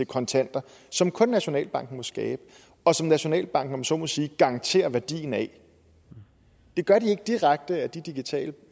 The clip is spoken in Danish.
kontanter som kun nationalbanken må skabe og som nationalbanken om man så må sige garanterer værdien af det gør de ikke direkte af de digitale